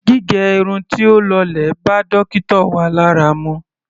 Gígẹ irun tí ó lọlẹ̀ bá dókítà wa lára mu.